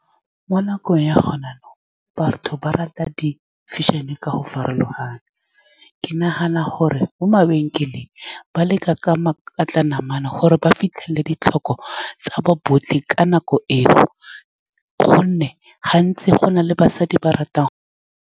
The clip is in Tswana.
Mo nakong ya go na jaanong, batho ba rata di-fashion-e ka go farologana. Ke nagana gore mo mabenkeleng ba leka ka makatla namana gore ba fitlhelele ditlhoko tsa ba botlhe ka nako eo, ka gonne gantsi go na le basadi ba ba ratang.